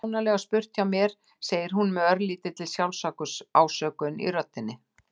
Kjánalega spurt hjá mér, segir hún með örlítilli sjálfsásökun í röddinni.